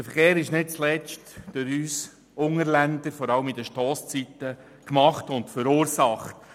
Der Verkehr wird vor allem zu Stosszeiten nicht zuletzt durch uns Unterländer gemacht und verursacht.